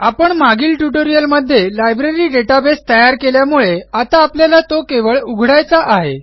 आपण मागील ट्युटोरियलमध्ये लायब्ररी डेटाबेस तयार केल्यामुळे आता आपल्याला तो केवळ उघडायचा आहे